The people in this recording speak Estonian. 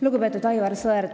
Lugupeetud Aivar Sõerd!